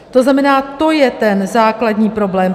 To znamená, to je ten základní problém.